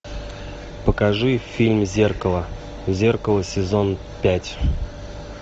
покажи фильм зеркало зеркало сезон пять